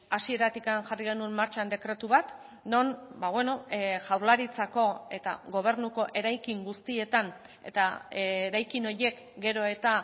hasieratik jarri genuen martxan dekretu bat non jaurlaritzako eta gobernuko eraikin guztietan eta eraikin horiek gero eta